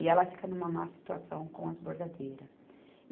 E ela fica numa má situação com as bordadeiras.